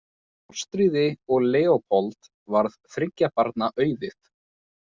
Ástríði og Leópold varð þriggja barna auðið.